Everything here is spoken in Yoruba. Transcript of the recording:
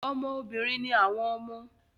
Ọmọ obìnrin ni àwọn ọmọ